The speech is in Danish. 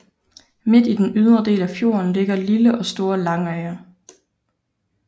Midt i den ydre del af fjorden ligger lille og store Langøya